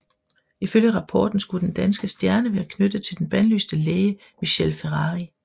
Ifølge rapporten skulle den danske stjerne være knyttet til den bandlyste læge Michele Ferrari